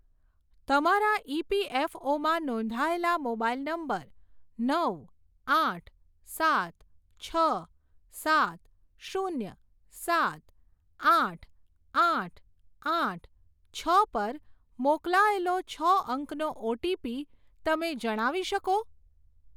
તમારા ઇપીએફઓમાં નોંધાયેલા મોબાઇલ નંબર નવ આઠ સાત છ સાત શૂન્ય સાત આઠ આઠ આઠ છ પર મોકલાયેલો છ અંકનો ઓટીપી તમે જણાવી શકો?